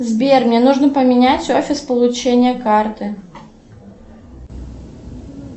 сбер мне нужно поменять офис получения карты